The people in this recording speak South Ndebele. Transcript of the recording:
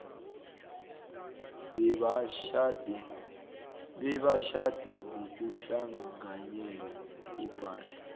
bebatjhade ngokuhlanganyela ipahla